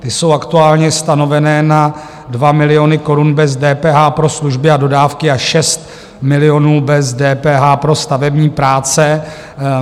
Ty jsou aktuálně stanovené na 2 miliony korun bez DPH pro služby a dodávky a 6 milionů bez DPH pro stavební práce.